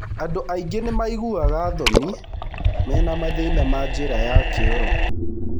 Andũ aingĩ nĩ maiguaga thoni mena mathĩna ma njĩra ya kĩoro.